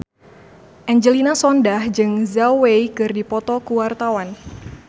Angelina Sondakh jeung Zhao Wei keur dipoto ku wartawan